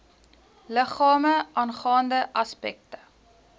liggame aangaande aspekte